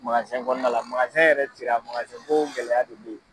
kɔnɔna la yɛrɛ cira gɛlɛya de bɛ yen.